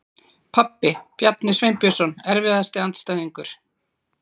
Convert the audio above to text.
Pabbi, Bjarni Sveinbjörnsson Erfiðasti andstæðingur?